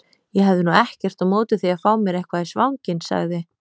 Ég hefði nú ekkert á móti því að fá mér eitthvað í svanginn sagði